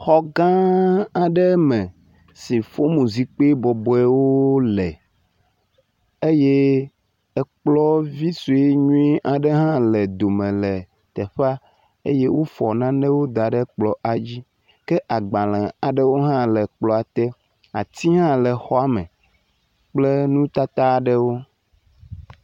Xɔ gã aɖe me si fono zikpui bɔbɔewo le eye ekplɔ vi sue nyui aɖe hã le dome le teƒea eye wofɔ nanewo da ɖe kplɔ la dzi ke agbale aɖewo hã le kplɔa te. Ati hã le xɔa me kple nutata aɖewo.